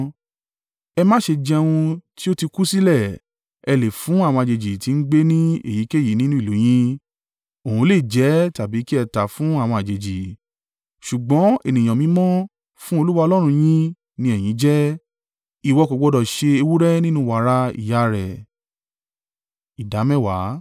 Ẹ má ṣe jẹ ohun tí ó ti kú sílẹ̀. Ẹ lè fún àwọn àjèjì tí ń gbé ní èyíkéyìí nínú ìlú yín. Òun lè jẹ ẹ́ tàbí kí ẹ tà á fún àwọn àjèjì. Ṣùgbọ́n ènìyàn mímọ́ fún Olúwa Ọlọ́run yín ni ẹ̀yin jẹ́. Ìwọ kò gbọdọ̀ ṣe ewúrẹ́ nínú wàrà ìyá rẹ̀.